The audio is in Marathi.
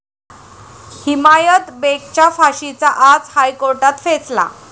हिमायत बेगच्या फाशीचा आज हायकोर्टात फैसला